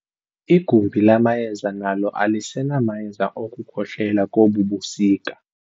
Igumbi lamayeza nalo alisenamayeza okukhohlela kobu busika.